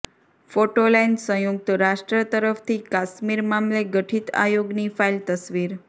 photo line સંયુક્ત રાષ્ટ્ર તરફથી કાશ્મીર મામલે ગઠિત આયોગની ફાઇલ તસવીર